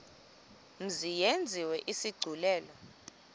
mzi yenziwe isigculelo